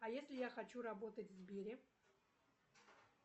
а если я хочу работать в сбере